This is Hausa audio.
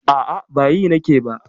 A'a, ba yi nake ba.